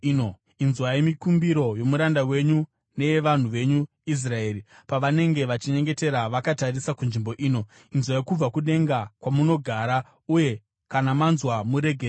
Inzwai mikumbiro yomuranda wenyu neyavanhu venyu Israeri pavanenge vachinyengetera vakatarisa kunzvimbo ino. Inzwai kubva kudenga kwamunogara uye kana manzwa muregerere.